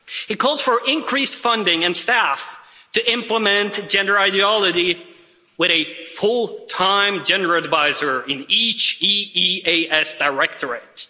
It calls for increased funding and staff to implement gender ideology, with a full time gender adviser in each EEAS Directorate.